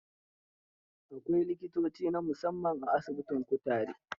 Akwai likitoci na musamman a asibitin kutare.